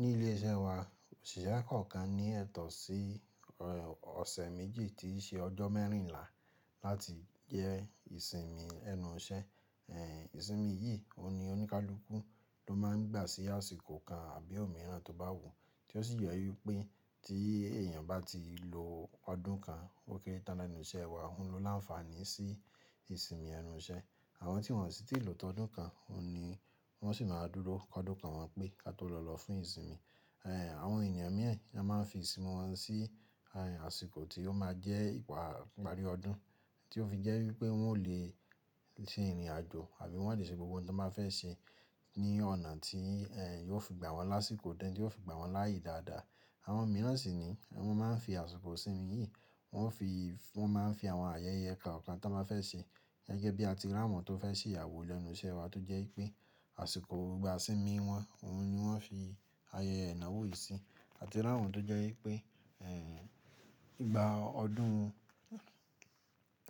Ní ilé iṣẹ́ wa, òṣìṣẹ́ kọ̀ọ̀kan ní ẹ̀tọ́ sí ọ̀sẹ̀ méjì tíí ṣe ọjọ́ mẹ́rìnlá láti jẹ ìsinmi ẹnu iṣẹ́. Ẹ̀ ìsinmi yìí, òun ni ó ní kaluku ló má a ń gbà sí àsìkò kan àbí òmíràn tó bá wùú, tí ó sì jẹ wípé tí èèyàn bá ti lo ọdún kan ó kéré tán lẹ́nu iṣẹ́ wa, òun lo láǹfààní sí ìsinmi ẹnu iṣẹ́. Àwọn tí wọ́n sì ti lò tọ́ ọdún kan, òun ni wọ́n sì máa dúró ọdún kan wọn pé ka tó lọ lọ fún ìsinmi. Ẹ̀ àwọn ènìyàn mi na máa ń fi ìsinmi wọn sí àsìkò tí ó máa jẹ́ ìpà ìparí ọdún, tí ó fi jẹ́ wípé wọn ò le ṣe ìrìn àjò àbí wọn ò le ṣe gbogbo ohun tí wọ́n bá fẹ́ ṣe ní ọ̀nà tí ẹ́ yóò fi gbà wọ́n lásìkò díẹ̀ tí yóò fi gbà wọ́n láìyé dáadáa. Àwọn mìíràn sì ni wọ́n máa ń fi àsìkò ìsinmi yìí, wọ́n o fi wọn máa n àwọn ayẹyẹ kan kan tó máa fẹ́ ṣe. Gẹ́gẹ́ bí à ti rawọn tó fẹ́ ṣe ìyàwó lẹnu iṣẹ́ wa tó jẹ́ wípé àsìkò ìgbà ìsinmi wọn, òun ni wọ́n fi ayẹyẹ ìnáwó yìí sí. À ti rántí àwọn tó jẹ́ wípé ẹ̀ ìgbà ọdún,